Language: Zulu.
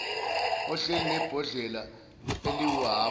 ohleli nebhodlela eliwuhhafu